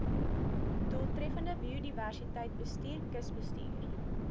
doeltreffende biodiversiteitsbestuur kusbestuur